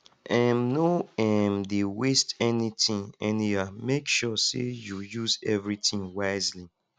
um no um dey waste anytin anyhow mek sure sey yu use evritin wisely